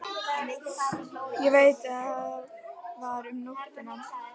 Ég veit það var um nóttina.